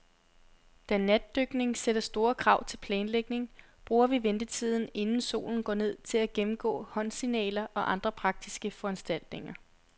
Da natdykning sætter store krav til planlægning, bruger vi ventetiden, inden solen går ned, til at gennemgå håndsignaler og andre praktiske foranstaltninger.